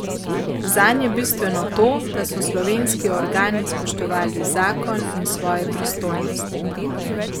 Zanj je bistveno to, da so slovenski organi spoštovali zakon in svoje pristojnosti.